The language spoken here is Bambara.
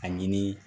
Ani